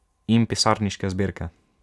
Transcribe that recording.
In pisarniške zbirke.